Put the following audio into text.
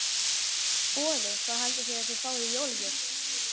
Boði: Hvað haldið þið að þið fáið í jólagjöf?